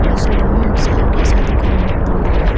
on·sogimin noksao ge·sa dokan nok donga.